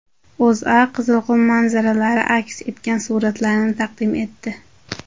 O‘zA Qizilqum manzaralari aks etgan suratlarni taqdim etdi .